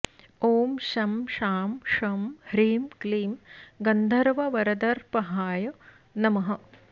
ॐ शं शां षं ह्रीं क्लीं गन्धर्ववरदर्पहाय नमः